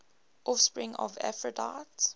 offspring of aphrodite